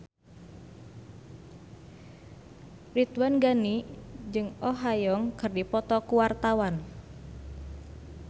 Ridwan Ghani jeung Oh Ha Young keur dipoto ku wartawan